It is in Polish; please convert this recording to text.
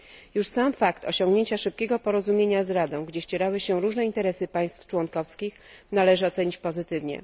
Już sam fakt osiągnięcia szybkiego porozumienia z Radą, gdzie ścierały się różne interesy państw członkowskich, należy ocenić pozytywnie.